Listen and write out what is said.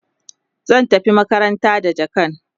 zai tafi makaranta da jakan